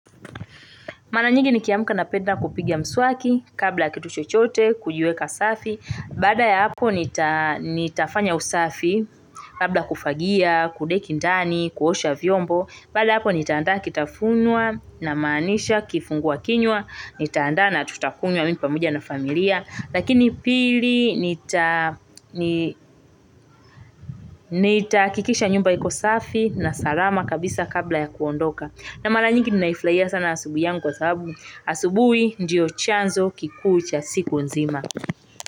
Mara nyingi nikiamka napenda kupigia mswaki kabla kitu chochote kujiweka safi. Baada ya hapo nita nitafanya usafi kabla kufagia kudeki ndani kuosha vyombo. Baada ya hapo nitaandaa kitafunwa namaanisha kifungua kinywa nitaandaa na tutakunywa mi pamoja na familia. Lakini pili nita ni nitahakikisha nyumba iko safi na salama kabisa kabla ya kuondoka. Na mara nyingi ninaifurahia sana asubuhi yangu kwa sababu asubuhi ndiyo chanzo kikuu cha siku nzima.